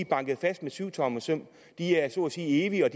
banket fast med syvtommersøm de er så at sige evige og